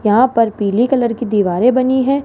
यहां पर पीले कलर की दीवारें बनी है।